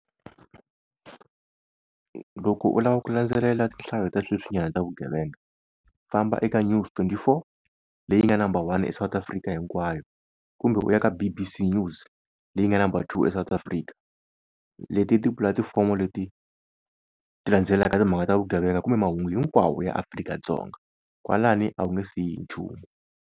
Loko u lava ku landzelela tinhlayo ta sweswinyana ta vugevenga, famba eka news twenty four leyi nga number one eSouth Africa hinkwayo kumbe u ya ka B_B_C news leyi nga number two eSouth Africa. Leti i tipulatifomo leti ti landzelaka timhaka ta vugevenga kumbe mahungu hinkwawo ya Afrika-Dzonga kwalani a wu nge siyi hi nchumu.